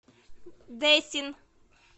дэсин